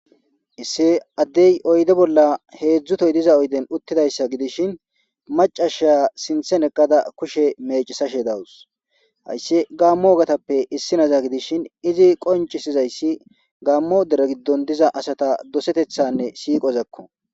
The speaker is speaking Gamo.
issi addey oyde bolla heedzdzu tohoy diza oyden uttidayssa gidishin macashiya sinthen eqqada kushe mecisashe dawus hayssi gaammo ogatappe issi naza gidishin izi qoncisizayssi gaammo dere giddon diza asata dosetethanne siiqozakko